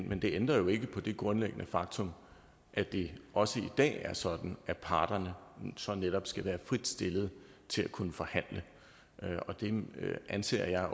men det ændrer jo ikke på det grundlæggende faktum at det også i dag er sådan at parterne så netop skal være frit stillet til at kunne forhandle og det anser jeg